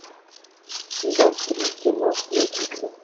сезон три кино сплетница